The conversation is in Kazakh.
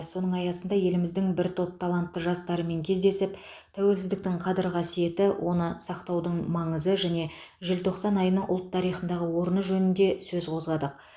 соның аясында еліміздің бір топ талантты жастарымен кездесіп тәуелсіздіктің қадір қасиеті оны сақтаудың маңызы және желтоқсан айының ұлт тарихындағы орны жөнінде сөз қозғадық